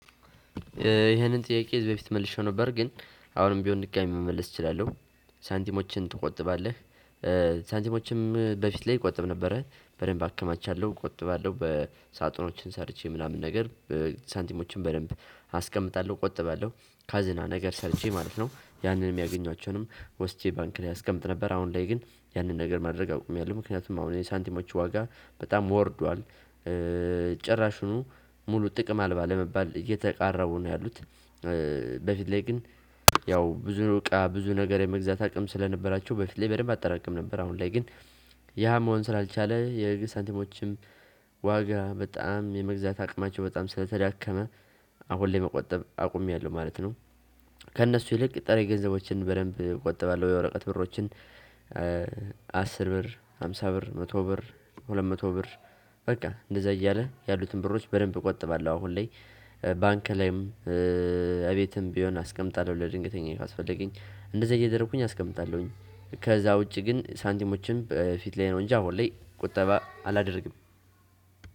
ይህንን ጥያቄ በፊት መልሼ ነበር ግን አሁንም ቢሆን ድጋሚ መመለስ እችላለሁ ሳንቲሞችን ትቆጥባለህ ሳንቲሞችም በፊት ላይ ቆጥብ ነበረ በደንብ አከማቻለሁ፤ እቆጥባለሁ በሳጥኖችን ሰርቼ ምናምን ነገር ሳንቲሞችን በደንብ አስቀምጣለ፤ እቆጥባለሁ ካዝና ነገር ሰርቼ ማለት ነው፤ ያንን የማገኟቸውንም ወስጄ ባንክ ላይ አስቀምጥ ነበር አሁን ላይ ግን ያንን ነገር ማድረግ አውቅሜያለሁ ምክንያቱም አሁን የሳንቲሞቹ ዋጋ በጣም ወርዷል ጭራሹኑ ሙሉ ጥቅም አልባ ለመባል እየተቃረቡ ነው ያሉት። በፊት ላይ ግን ያው ብዙ እቃ ብዙ ነገር የመግዛት አቅም ስለነበራቸው በፊት ላይ በደንብ አጠራቀም ነበር። አሁን ላይ ግን ያ መሆን ስላልቻለ የህግ ሳንቲሞችም ዋጋ በጣም የመግዛት አቅማቸው በጣም ስለተዳከመ አሁን ለመቆጠብ አቁሜያለሁ ማለት ነው። ከእነሱ ይልቅ ጠረጴዛዎችን በደንብ እቆጥባለሁ የወረቀት ብሮችን አስር ብር ሃምሳ ብር መቶ ብር ሁለት መቶ ብር በቃ እንደዛ እያለ ያሉትን ብሮች በደንብ እቆጥባለሁ አሁን ላይ ባንክ ላይም እቤትም ቢሆን አስቀምጣለሁ ለድንገተኛ ካስፈለገኝ እንደዛ እየደረኩኝ አስቀምጣለሁኝ ከዛ ውጪ ግን ሳንቲሞችን በፊት ላይ ነው እንጂ አሁን ሁሌ ቁጠባ አላደርግም።